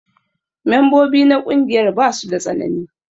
Membobi na ƙungiyar basu da tsanani.